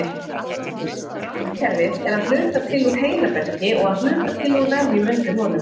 Randkerfið er að hluta til úr heilaberki og að hluta til úr vefjum undir honum.